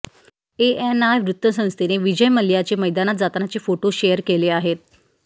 ANI वृत्तसंस्थेने विजय मल्ल्याचे मैदानात जातानाचे फोटो शेअर केले आहेत